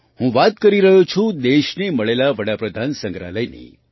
હું વાત કરી રહ્યો છું દેશને મળેલા પ્રધાનમંત્રીસંગ્રહાલયની